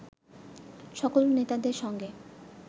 সকল নেতাদের সঙ্গে